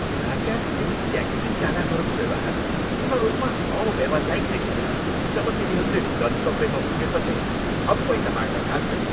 यहाँका केही ट्याक्सी चालकहरूको व्यवहार पूर्ण रूपमा अव्यावसायिक देखिन्छ जब तिनीहरूले गन्तव्यमा पुगेपछि थप पैसा माग्न थाल्छन्।